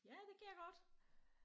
Ja det kan jeg godt